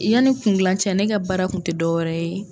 Yanni kungilan cɛ ne ka baara kun tɛ dɔwɛrɛ ye.